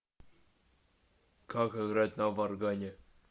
как играть на варгане